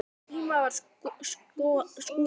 Á þeim tíma var Skúla